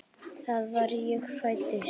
Þar sem ég fæddist.